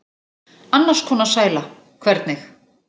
Annars konar sæla, hvernig?